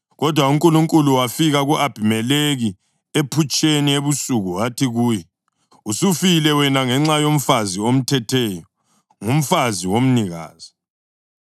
Kodwa uNkulunkulu wafika ku-Abhimelekhi ephutsheni ebusuku wathi kuye, “Usufile wena ngenxa yomfazi omthetheyo; ngumfazi womnikazi.”